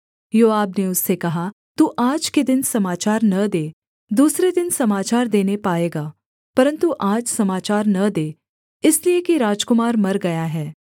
योआब ने उससे कहा तू आज के दिन समाचार न दे दूसरे दिन समाचार देने पाएगा परन्तु आज समाचार न दे इसलिए कि राजकुमार मर गया है